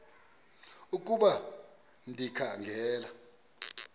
ukuba ndikha ngela